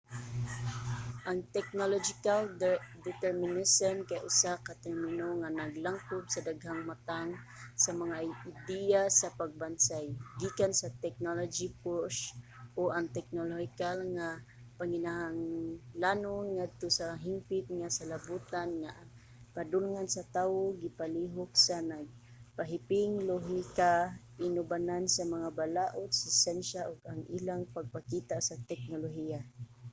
ang technological determinism kay usa ka termino nga naglangkob sa daghang matang sa mga ideya sa pagbansay gikan sa technology-push o ang teknolohikal nga panginahanglanon ngadto sa hingpit nga salabutan nga ang padulngan sa tawo gipalihok sa nagpahiping lohika inubanan sa mga balaod sa syensya ug ang ilang pagpakita sa teknolohiya